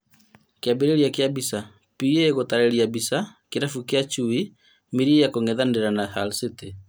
Kĩambĩrĩria kĩa mbica, PA gũtarĩria mbica, kĩrabu kĩa Chui Milia kũng'ethanĩra na Hull City